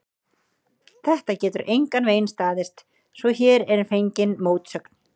Þetta getur engan veginn staðist, svo hér er fengin mótsögn.